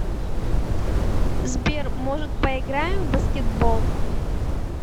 сбер может поиграем в баскетбол